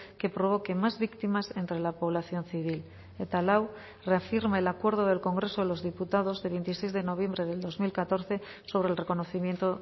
que provoque más víctimas entre la población civil eta lau reafirma el acuerdo del congreso de los diputados de veintiséis de noviembre del dos mil catorce sobre el reconocimiento